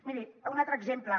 miri un altre exemple